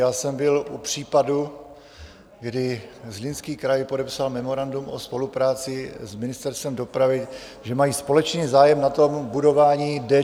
Já jsem byl u případu, kdy Zlínský kraj podepsal memorandum o spolupráci s Ministerstvem dopravy, že mají společný zájem na budování D49.